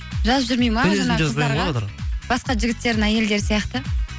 жазып жүрмейді ма басқа жігіттердің әйелдері сияқты